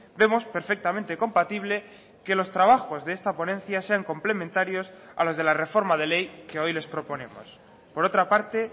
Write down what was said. vemos perfectamente compatible que los trabajos de esta ponencia sean complementarios a los de la reforma de ley que hoy les proponemos por otra parte